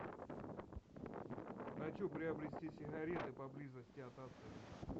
хочу приобрести сигареты поблизости от отеля